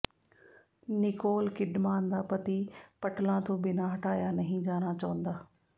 Nicole Kidman ਦਾ ਪਤੀ ਪਟਲਾਂ ਤੋਂ ਬਿਨਾਂ ਹਟਾਇਆ ਨਹੀਂ ਜਾਣਾ ਚਾਹੁੰਦਾ